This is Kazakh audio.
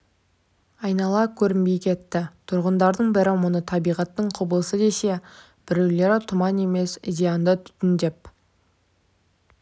айнала көрінбей кетті тұрғындардың бірі мұны табиғаттың құбылысы десе біреулері тұман емес зиянды түтін деп